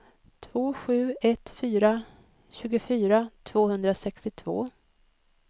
två sju ett fyra tjugofyra tvåhundrasextiotvå